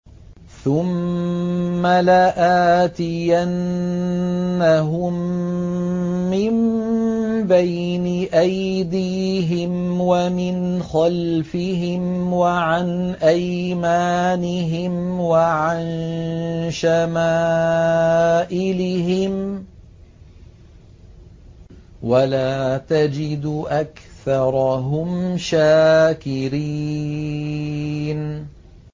ثُمَّ لَآتِيَنَّهُم مِّن بَيْنِ أَيْدِيهِمْ وَمِنْ خَلْفِهِمْ وَعَنْ أَيْمَانِهِمْ وَعَن شَمَائِلِهِمْ ۖ وَلَا تَجِدُ أَكْثَرَهُمْ شَاكِرِينَ